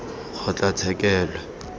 kgotlatshekelo